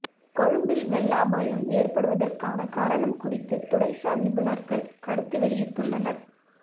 கொழும்பில் வெள்ள அபாயம் ஏற்படுவதற்கான காரணம் குறித்து துறைசார் நிபுணர்கள் கருத்து வெளியிட்டுள்ளனர்